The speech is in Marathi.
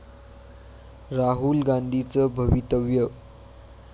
राहुल गांधीचं भवितव्य